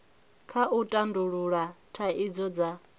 kha u tandulula thaidzo nga